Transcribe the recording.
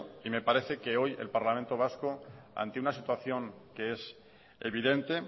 y me parece que hoy el parlamento vasco ante una situación que es evidente